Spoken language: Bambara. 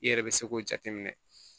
I yɛrɛ be se k'o jateminɛ